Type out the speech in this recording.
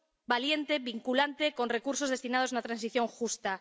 valiente, vinculante, con recursos destinados a una transición justa.